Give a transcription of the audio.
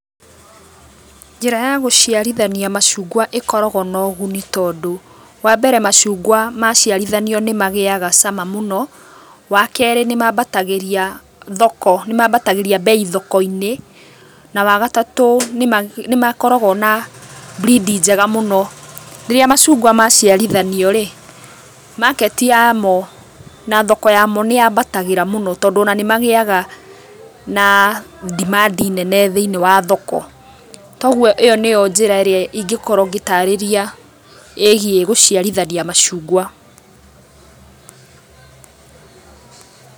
Njĩra ya gũciarithania macungwa ĩkoragwo na ũguni tondũ wa mbere macungwa maciarithanio nĩ magĩaga cama mũno, wa kerĩ nĩmambatagĩria thoko, nĩmambatagĩria mbei thoko-inĩ, na wa gatatũ nĩ makoragwo na breed njega mũno. Rĩrĩa macungwa maciarithanio rĩ, market yamo na thoko yamo nĩ yambatagĩra mũno tondũ ona nĩ magĩaga na demand nene thĩiniĩ wa thoko. Ta ũguo ĩyo nĩyo njĩra ingĩkorwo ngĩtarĩria ĩgiĩ gũciarithania macungwa.